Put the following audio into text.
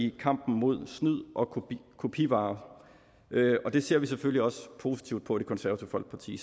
af kampen mod snyd og kopivarer det ser vi selvfølgelig også positivt på i det konservative folkeparti